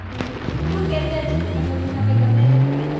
ok તો તું કે ત્યાં જઈએ, તમે કયો જઈએ.